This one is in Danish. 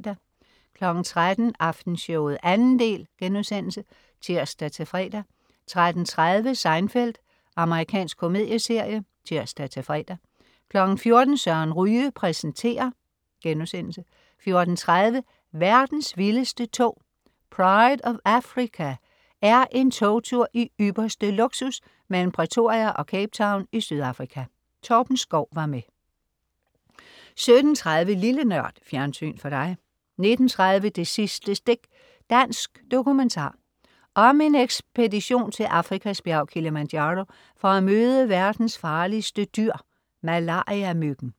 13.00 Aftenshowet 2. del* (tirs-fre) 13.30 Seinfeld. Amerikansk komedieserie (tirs-fre) 14.00 Søren Ryge præsenterer* 14.30 Verdens vildeste tog. "Pride of Africa" er en togtur i ypperste luksus mellem Pretoria og Cape Town i Sydafrika. Torben Schou var med 17.30 Lille Nørd. Fjernsyn for dig 19.30 Det sidste stik. Dansk dokumentar. Om en ekspedition til Afrikas bjerg, Kilimanjaro, for at møde verdens farligste dyr, malariamyggen